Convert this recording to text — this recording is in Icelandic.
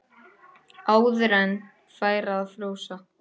Áður en færi að frjósa.